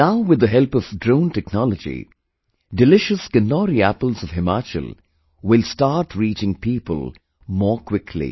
Now with the help of Drone Technology, delicious Kinnauri apples of Himachal will start reaching people more quickly